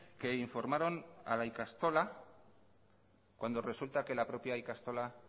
que informaron a la ikastola cuando resulta que la propia ikastola